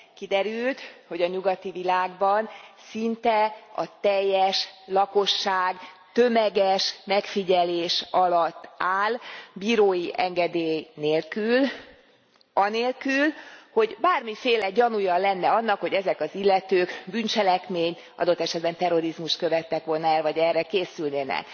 Kiderült, hogy a nyugati világban szinte a teljes lakosság tömeges megfigyelés alatt áll, bírói engedély nélkül, anélkül, hogy bármiféle gyanúja lenne annak, hogy ezek az illetők bűncselekményt, adott esetben terrorizmust követtek volna el, vagy erre készülnének.